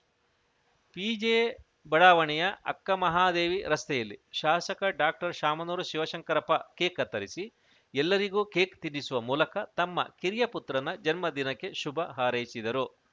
ಪಿಜೆಬಡಾವಣೆಯ ಅಕ್ಕ ಮಹಾದೇವಿ ರಸ್ತೆಯಲ್ಲಿ ಶಾಸಕ ಡಾಕ್ಟರ್ಶಾಮನೂರು ಶಿವಶಂಕರಪ್ಪ ಕೇಕ್‌ ಕತ್ತರಿಸಿ ಎಲ್ಲರಿಗೂ ಕೇಕ್‌ ತಿನ್ನಿಸುವ ಮೂಲಕ ತಮ್ಮ ಕಿರಿಯ ಪುತ್ರನ ಜನ್ಮ ದಿನಕ್ಕೆ ಶುಭ ಹಾರೈಸಿದರು